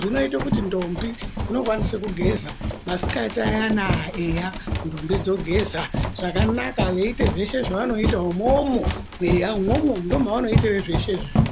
zvinoita kuti ndombi dzinokwanisa kugeza masikati ayana eya ndombi dzogeza zvakanaka veiita zveshe zvevanoita umomo eya imomo ndomavanoitira zveshe.